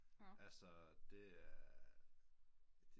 Altså det er